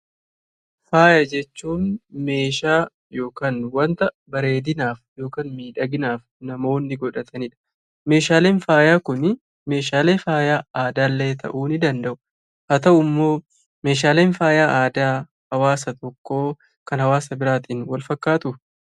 Faayya jechuun meeshaa yookiin wanta bareedinaaf yookiin miidhaginaaf namoonni godhataniidha. Meeshaalee faayyaa kunii meeshaalee faayyaa aadaa ta'uu ni danda'a. Haa ta'u immoo meeshaaleen faayyaa aadaa kan hawwaasa tokkoo kan hawwaasa biraan wal fakkaatuu?